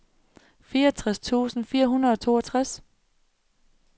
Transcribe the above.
fireogtres tusind fire hundrede og toogtres